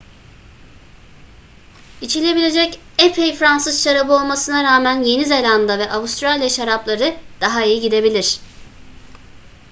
i̇çilebilecek epey fransız şarabı olmasına rağmen yeni zelanda ve avustralya şarapları daha iyi gidebilir